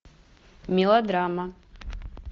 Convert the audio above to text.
мелодрама